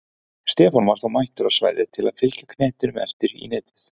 Stefán var þó mættur á svæðið til að fylgja knettinum eftir í netið!